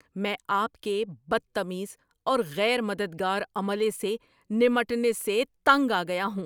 میں آپ کے بدتمیز اور غیر مددگار عملے سے نمٹنے سے تنگ آ گیا ہوں۔